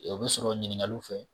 O bi sɔrɔ ɲininkaliw fɛ.